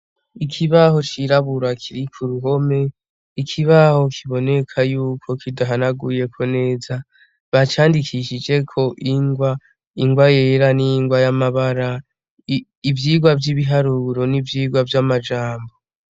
Ikibaho cirabura kiri k'uruhome, ikibaho kiboneka yuko kidahanaguyeko neza, bacandikishiheko ingwa yera n'ingwa y'amabara, ivyirwa vy'ibiharuro n'ivyirwa vy'amajambo.